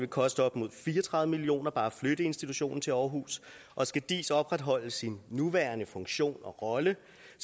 koste op imod fire og tredive million kroner bare at flytte institutionen til aarhus og skal diis opretholde sin nuværende funktion og rolle